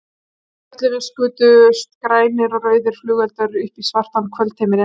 Yfir Perlunni skutust grænir og rauðir flugeldar upp í svartan kvöldhimininn.